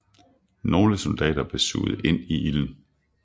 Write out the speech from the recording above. Nogle soldater blev suget ind i ilden